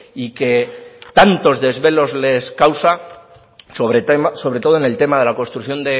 y que tantos desvelos les causa sobre todo en el tema de la construcción